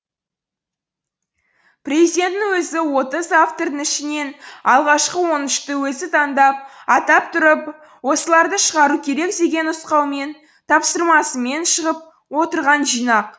президенттің өзі отыз автордың ішінен алғашқы он үшті өзі таңдап атап тұрып осыларды шығару керек деген нұсқаумен тапсырмасымен шығып отырған жинақ